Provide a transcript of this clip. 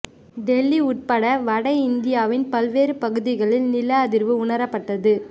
டெல்லி உட்பட வட இந்தியாவின் பல்வேறு பகுதிகளில் நில அதிர்வு உணரப்பட்டது